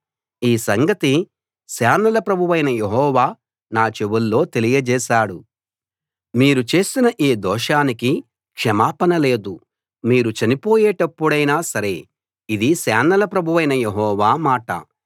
ఈ సంగతి సేనల ప్రభువైన యెహోవా నా చెవుల్లో తెలియజేశాడు మీరు చేసిన ఈ దోషానికి క్షమాపణ లేదు మీరు చనిపోయేటప్పుడైనా సరే ఇది సేనల ప్రభువైన యెహోవా మాట